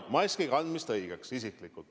Mina isiklikult pean maski kandmist õigeks.